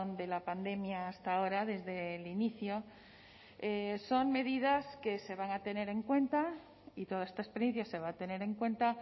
de la pandemia hasta ahora desde el inicio son medidas que se van a tener en cuenta y toda esta experiencia se va a tener en cuenta